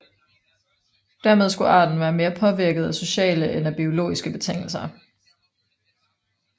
Dermed skulle arten være mere påvirket af sociale end af biologiske betingelser